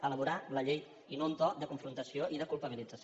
elaborar la llei i no un to de confrontació i de culpabilització